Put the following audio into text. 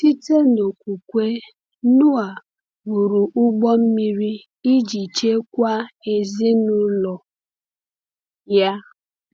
Site n’okwukwe, Noa “wụrụ ụgbọ mmiri iji chekwaa ezinụlọ ya.”